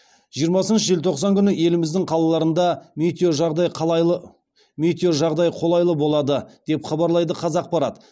жиырмасыншы желтоқсан күні еліміздің қалаларында метеожағдай қолайлы болады деп хабарлайды қазақпарат